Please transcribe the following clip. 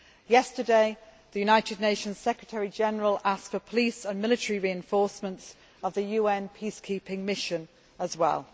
Yesterday, the United Nations Secretary General asked for police and military reinforcements of the UN peacekeeping mission as well.